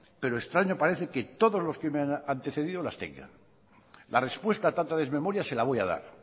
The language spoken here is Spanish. pero estaño parece que todos los que me han antecedido las tenga la respuesta a tanta desmemoria se la voy a dar